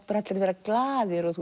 bara allir að vera glaðir og